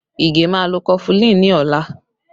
Ige máa lọ kọfulin ni ọla